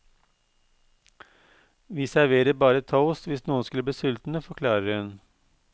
Vi serverer bare toast hvis noen skulle bli sultne, forklarer hun.